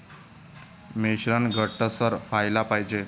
मिश्रण घट्टसर व्हायला पाहिजे.